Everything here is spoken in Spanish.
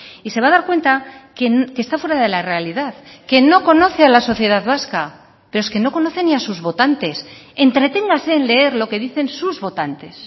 y se va a dar cuenta que está fuera de la realidad que no conoce a la sociedad vasca pero es que no conoce ni a sus votantes entreténgase en leer lo que dicen sus votantes